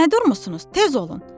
Nə durmusunuz, tez olun!